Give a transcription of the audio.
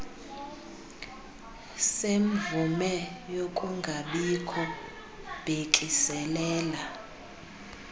semvume yokungabikho bhekiselela